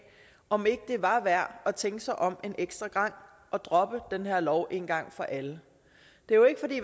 om ikke var værd at tænke sig om en ekstra gang og droppe den her lov en gang for alle det